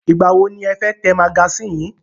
Ìgbà wọ ni ẹ fẹ́ tẹ magasínì yín?